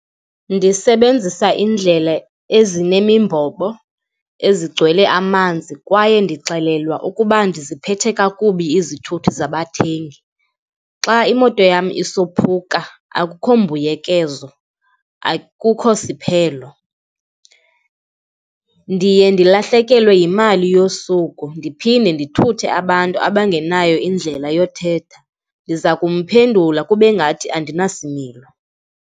Ndisebenzisa iindlela ezinemimbobo ezigcwele amanzi kwaye ndixelelwa ukuba ndiziphethe kakubi izithuthi zabathengi. Xa imoto yam isophuka akukho mbuyekezo, akukho siphelo, ndiye ndilahlekelwe yimali yosuku ndiphinde ndithuthe abantu abangenayo indlela yothetha, ndiza kumphendule kube ngathi andinasimilo.